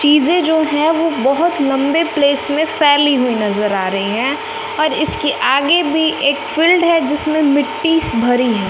चीजें जो हैं वो बहोत लम्बे प्लेस में फैली हुईं नजर आ रही है और इसके आगे भी एक फील्ड है जिसमें मिट्टीस भरी है।